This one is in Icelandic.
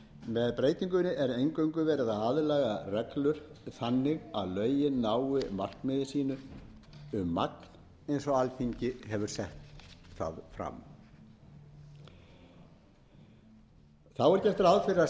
með breytingunni er eingöngu verið að aðlaga reglur þannig að lögin nái markmiði sínu um magn eins og alþingi hefur sett það fram þá er gert ráð fyrir að